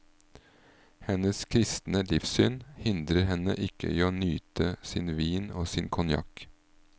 Hennes kristne livssyn hindrer henne ikke i å nyte sin vin og sin konjakk.